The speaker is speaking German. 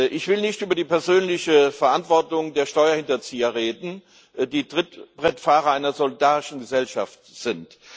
Ich will nicht über die persönliche Verantwortung der Steuerhinterzieher reden, die Trittbrettfahrer einer solidarischen Gesellschaft sind.